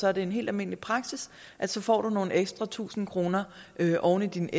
er det en helt almindelig praksis at du får nogle ekstra tusinde kroner oven i din